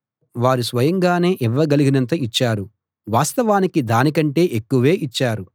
వారు స్వయంగానే ఇవ్వగలిగినంతా ఇచ్చారు వాస్తవానికి దానికంటే ఎక్కువే ఇచ్చారు